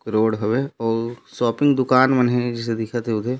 road हवै आउ shopping दुकान मन हे जैसे दिखत है उदे --